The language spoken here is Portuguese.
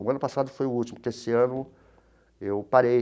O ano passado foi o último que, esse ano, eu parei.